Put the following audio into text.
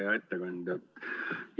Hea ettekandja!